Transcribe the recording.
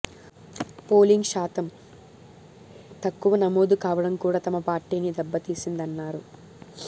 polling శాతం తక్కువ నమోదు కావడం కూడా తమ పార్టీని దెబ్బతీసిందన్నారు